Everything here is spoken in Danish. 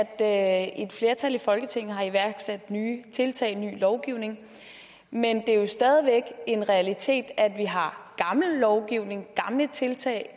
at et flertal i folketinget har iværksat nye tiltag ny lovgivning men det er jo stadig væk en realitet at vi har gammel lovgivning gamle tiltag